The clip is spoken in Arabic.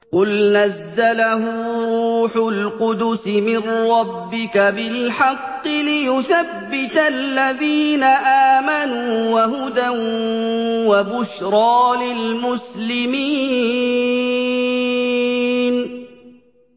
قُلْ نَزَّلَهُ رُوحُ الْقُدُسِ مِن رَّبِّكَ بِالْحَقِّ لِيُثَبِّتَ الَّذِينَ آمَنُوا وَهُدًى وَبُشْرَىٰ لِلْمُسْلِمِينَ